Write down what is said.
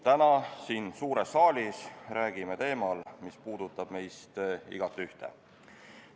Täna siin suures saalis räägime teemal, mis puudutab meist igatühte.